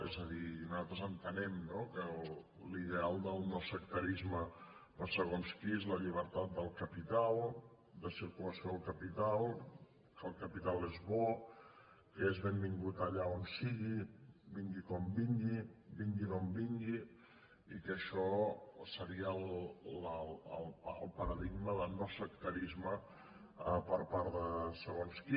és a dir nosaltres entenem no que l’ideal del no·sectarisme per segons qui és la llibertat del capital de circula·ció del capital que el capital és bo que és benvingut allà on sigui vingui com vingui vingui d’on vingui i que això seria el paradigma de no·sectarisme per part de segons qui